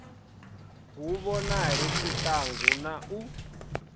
hu vhonale tshiṱangu na u